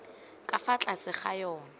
ka fa tlase ga yona